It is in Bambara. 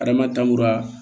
Adama